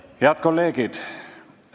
Head kolleegid!